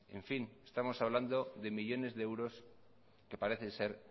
en fin estamos hablando de millónes de euros que parece ser